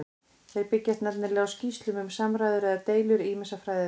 Þeir byggjast nefnilega á skýrslum um samræður eða deilur ýmissa fræðimanna.